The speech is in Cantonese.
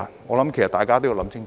我想大家都要想清楚。